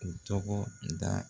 U tɔgɔ da